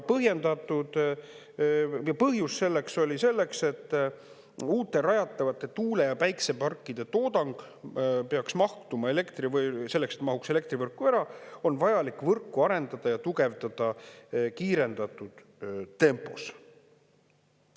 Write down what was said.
Ja põhjus selleks oli: selleks, et uute rajatavate tuule- ja päikseparkide toodang peaks mahtuma elektrivõrku ära ja selleks, et see mahuks elektrivõrku ära, on vajalik võrku arendada ja tugevdada kiirendatud tempos.